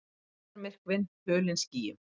Deildarmyrkvinn hulinn skýjum